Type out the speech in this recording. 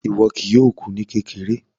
Ọ̀rọ̀ wọn kìí yọọ̀ kú ní kèkèrè